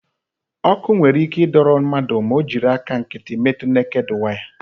Ọkụ nwere ike ịdọrọ mmadụ ma ọ jiri aka nkịtị metu neked waya.